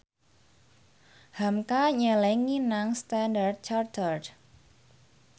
hamka nyelengi nang Standard Chartered